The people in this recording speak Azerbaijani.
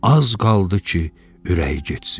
Az qaldı ki, ürəyi getsin.